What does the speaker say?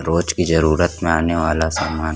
रोज की ज़रुरत में आने वाला सामान--